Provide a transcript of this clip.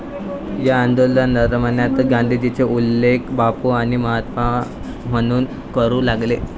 या आंदोलनादरम्यानच गांधीजींचा उल्लेख लोक 'बापू' आणि 'महात्मा' म्हणून करू लागले.